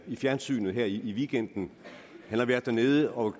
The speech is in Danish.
i fjernsynet her i weekenden han har været dernede og